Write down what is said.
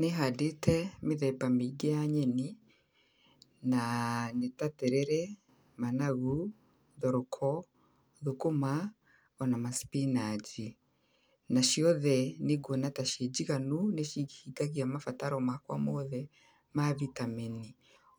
Nĩhandĩte, mĩthemba mĩingĩ ya nyeni, na nĩ ta terere, managu, thoroko, thũkũma, ona macipinaji. Na ciothe nĩnguona ta cinjiganu nĩcihingagia mabataro makwa mothe, ma vitameni.